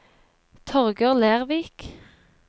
Torger Lervik